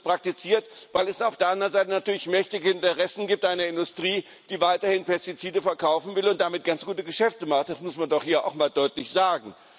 Aber es wird nicht praktiziert, weil es auf der anderen Seite natürlich mächtige Interessen gibt, eine Industrie, die weiterhin Pestizide verkaufen will und damit ganz gute Geschäfte macht. Das muss man doch hier auch mal deutlich sagen.